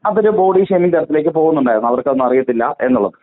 അപ്പൊ അത് body shaming തരത്തിലേയ്ക്ക് പോവുന്നുണ്ടായിരുന്നു അവർക്കൊന്നും അറിയത്തില്ല.